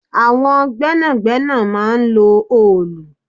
Àwọn gbẹ́nàgbẹ́nà máa ń lò òòlù